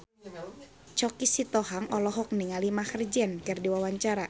Choky Sitohang olohok ningali Maher Zein keur diwawancara